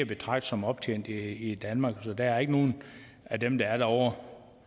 betragte som optjent i danmark så der er ikke nogen af dem der er derovre